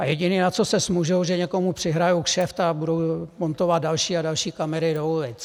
A jediné, na co se zmůžou, že někomu přihrají kšeft a budou montovat další a další kamery do ulic.